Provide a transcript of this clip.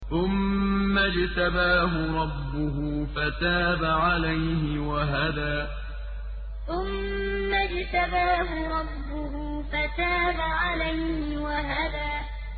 ثُمَّ اجْتَبَاهُ رَبُّهُ فَتَابَ عَلَيْهِ وَهَدَىٰ ثُمَّ اجْتَبَاهُ رَبُّهُ فَتَابَ عَلَيْهِ وَهَدَىٰ